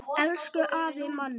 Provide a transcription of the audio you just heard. Elsku afi Manni.